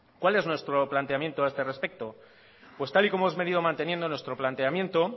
cuál es nuestro planteamiento a este respecto pues tal y como hemos venido manteniendo nuestro planteamiento